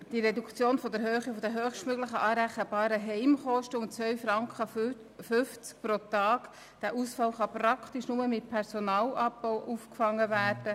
Die Reduktion der Höhe der höchstmöglich anrechenbaren Heimkosten um 2,5 Franken pro Tag kann praktisch nur mit Personalabbau aufgefangen werden.